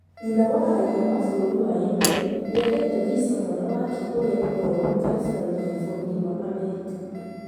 Nyina wa raia wa bũrũri wa Yemen nĩahetwe visa mwana wake ũria nĩmũrwaru California bũrũri wa America